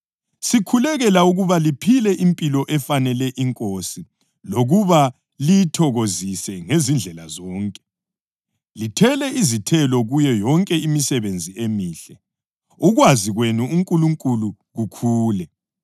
Sikhulekela ukuba liphile impilo efanele iNkosi lokuba liyithokozise ngezindlela zonke, lithele izithelo kuyo yonke imisebenzi emihle, ukwazi kwenu uNkulunkulu kukhule,